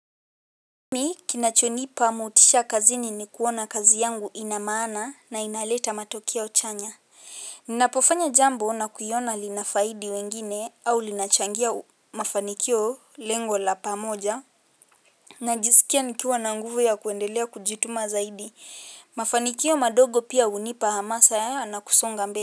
Ni, kinachonipa motisha kazini ni kuona kazi yangu ina maana na inaleta matokeo chanya. Ninapofanya jambo na kuiona linafaidi wengine au linachangia mafanikio lengo la pamoja. Najisikia nikiwa na nguvu ya kuendelea kujituma zaidi. Mafanikio madogo pia hunipa hamasa na kusonga mbele.